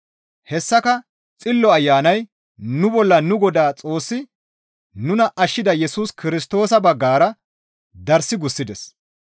Hessaka Xillo Ayanay nu bolla nu Godaa Xoossi nuna ashshida Yesus Kirstoosa baggara darssi gussides.